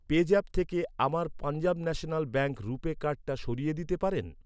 PayZapp থেকে আমার Punjab national bank RuPay কার্ডটা সরিয়ে দিতে পারেন?